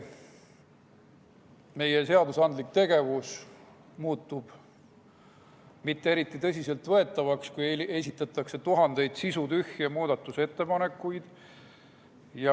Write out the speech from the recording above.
Meie seadusandlik tegevus muutub mitte eriti tõsiselt võetavaks, kui esitatakse tuhandeid sisutühje muudatusettepanekuid.